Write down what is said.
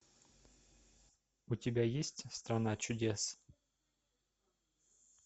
у тебя есть страна чудес